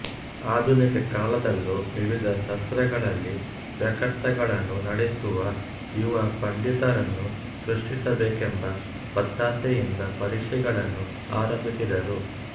ಆಧುನಿಕ ಕಾಲದಲ್ಲೂ ವಿವಿಧ ಶಾಸ್ತ್ರಗಳಲ್ಲಿ ವಾಕ್ಯಾರ್ಥಗಳನ್ನು ನಡೆಸುವ ಯುವ ಪಂಡಿತರನ್ನು ಸೃಷ್ಟಿಸಬೇಕೆಂಬ ಒತ್ತಾಸೆಯಿಂದ ಪರೀಕ್ಷೆಗಳನ್ನು ಆರಂಭಿಸಿದರು